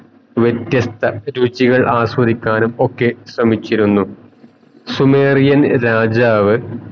വ്യത്യസ്ത രുചികൾ ആസ്വദിക്കാനും ഒക്കെ ശ്രമിച്ചിരുന്നു സുമേറിയൻ രാജാവ്